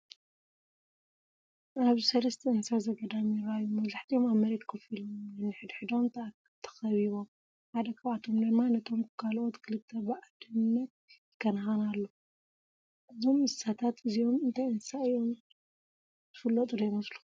ኣብዚ ሰለስተ እንስሳ ዘገዳም ይረኣዩ። መብዛሕትኦም ኣብ መሬት ኮፍ ኢሎም፡ ነንሕድሕዶም ተኸቢቦም፡ ሓደ ካብኣቶም ድማ ነቶም ካልኦት ክልተ ብኣደነት ይከናኸን ኣሎ። እዞም እንስሳታት እዚኦም እንታይ አንስሳ እዮም ? ዝፍለጡ ዶ ይመስለኩም?